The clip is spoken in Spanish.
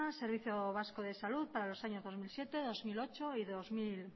servicio vasco de salud para los años dos mil siete dos mil ocho y dos mil